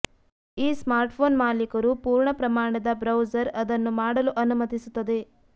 ಈ ಸ್ಮಾರ್ಟ್ಫೋನ್ ಮಾಲೀಕರು ಪೂರ್ಣ ಪ್ರಮಾಣದ ಬ್ರೌಸರ್ ಅದನ್ನು ಮಾಡಲು ಅನುಮತಿಸುತ್ತದೆ